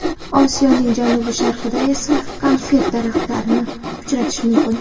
Osiyoning janubi-sharqida esa konfet daraxtlarini uchratish mumkin.